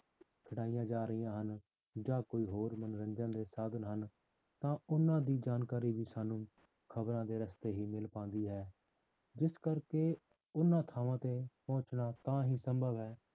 ਖਿਡਾਈਆਂ ਜਾ ਰਹੀਆਂ ਹਨ ਜਾਂ ਕੋਈ ਹੋਰ ਮੰਨੋਰੰਜਨ ਦੇ ਸਾਧਨ ਹਨ ਤਾਂ ਉਹਨਾਂ ਦੀ ਜਾਣਕਾਰੀ ਸਾਨੂੰ ਖ਼ਬਰਾਂ ਦੇ ਰਸਤੇ ਹੀ ਮਿਲ ਪਾਉਂਦੀ ਹੈ ਜਿਸ ਕਰਕੇ ਉਹਨਾਂ ਥਾਵਾਂ ਤੇ ਪਹੁੰਚਣਾ ਤਾਂ ਹੀ ਸੰਭਵ ਹੈ